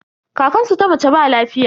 Kankansu ta mace ba lafiya.